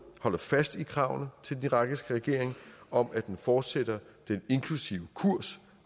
holder fast i kravene til den irakiske regering om at den fortsætter den inklusive kurs